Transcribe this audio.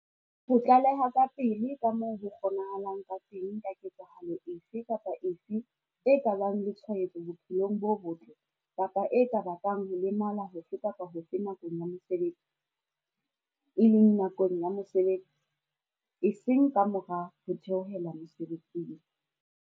Ho tlaleha kapele ka moo ho kgonahalang ka teng ka ketsahalo efe kapa efe e ka bang le tshwaetso bophelong bo botle kapa e ka bakang ho lemala hofe kapa hofe nakong ya mosebetsi, e leng nakong ya mosebetsi, eseng ka mora ho theohela mosebetsing.